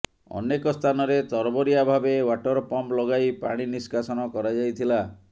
ଅନେକ ସ୍ଥାନରେ ତରବରିଆ ଭାବେ ୱାଟର ପମ୍ପ୍ ଲଗାଇ ପାଣି ନିଷ୍କାସନ କରାଯାଇଥିଲା